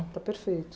Está perfeito.